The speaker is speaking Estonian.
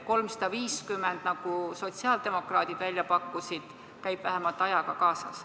350 eurot, nagu sotsiaaldemokraadid välja pakkusid, käib vähemalt ajaga kaasas.